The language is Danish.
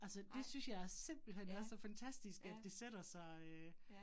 Altså det synes jeg er simpelthen er så fantastisk, at det sætter sig øh